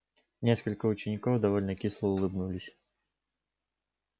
несколько учеников довольно кисло улыбнулись